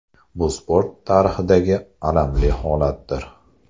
Bu sport tarixidagi alamli holatdir.